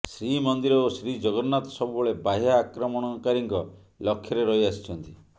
ଶ୍ରୀମନ୍ଦିର ଓ ଶ୍ରୀଜଗନ୍ନାଥ ସବୁବେଳେ ବାହ୍ୟ ଆକ୍ରମଣକାରୀଙ୍କ ଲକ୍ଷ୍ୟରେ ରହି ଆସିଛନ୍ତି